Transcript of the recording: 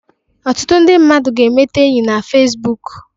Ọtụtụ ndị mmadụ ga-emete enyi na Fesbuk.